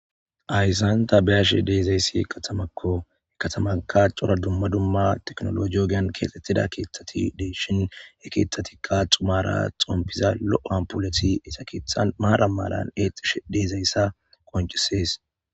Ayssanta beashi deezayssi katamakkoe katamaka cora dumma dumma teknolo joogeyan keexxettida keeththati dey shin e keethatikka xumaara xompiza lo7o ampuleti isakeetha maara malan exish deezayssa qoncisees